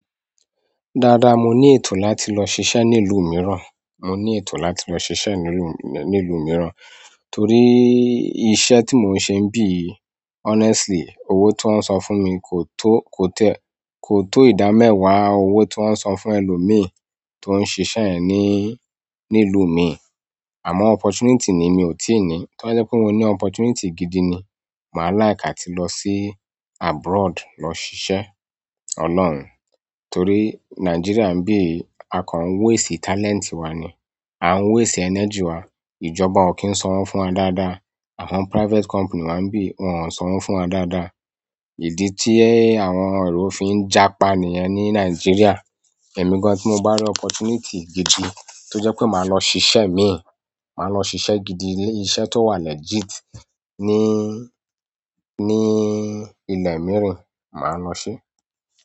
Dáadáa mo ní ètò láti lọ ṣiṣẹ́ ní ìlú mìíràn, mo ní ètò láti lọ ṣiṣẹ́ ní ìlú, ní ìlú mìíràn torí iṣẹ́ tí mò ń ṣe n bí honestly owó tiwon san fún mi kò tó, kò tiẹ́, kò tó ìdámẹ́wà owó tiwoń san fún ẹlòmi tó ń ṣisé yen ní, ní ìlú mi. Àmọ́ opportunity ni mi ò tí ì ní, tó ba jẹ́ pé mo ní opportunity gidi ni, màá like atí lọ sí abroad lọ ṣiṣẹ́ olóòrùn torí Nigeria ń bí a kan ń waste talent wa ni, a ń waste energy wa. Ìjọba ò kí ń sawo fún wa dáadáa, àwọn private company wa ń bí wọn ò sanwọ̀ fún wa dáadáa. Ìdí tí ẹ, àwọn èrò fi ń jápa nìyẹn ní Nigeria. Ẹ̀mí gan tí mo bá rí opportunity gidi tó jẹ́ pé màá lọ ṣiṣẹ́ mi, màá lọ ṣiṣẹ́ gidi, iṣẹ́ tó wà legit ní, ní ilẹ̀ mìíràn, màá lọ se.